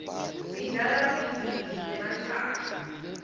sidla budzibi bematsanga